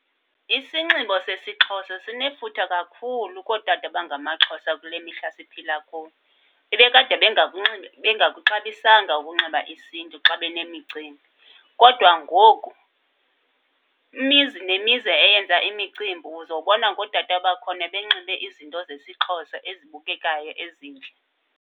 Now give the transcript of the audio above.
Isinxibo sesiXhosa sinefuthe kakhulu kootata abangamaXhosa kule mihla siphila kuyo. Bebekade bengakunxibi, bengakuxabisanga ukunxiba isiNtu xa benemicimbi, kodwa ngoku imizi nemizi eyenza imicimbi uzobona ngootata bakhona benxibe izinto zesiXhosa ezibukekayo ezintle.